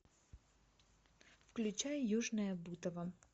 включай южное бутово